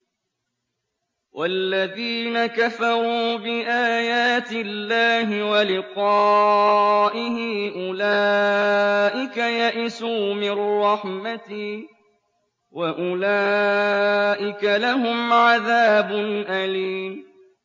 وَالَّذِينَ كَفَرُوا بِآيَاتِ اللَّهِ وَلِقَائِهِ أُولَٰئِكَ يَئِسُوا مِن رَّحْمَتِي وَأُولَٰئِكَ لَهُمْ عَذَابٌ أَلِيمٌ